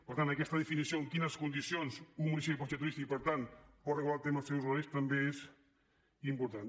per tant aquesta definició de en quines condicions un municipi pot ser turístic per tant pot regular el tema dels seus horaris també és important